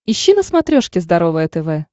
ищи на смотрешке здоровое тв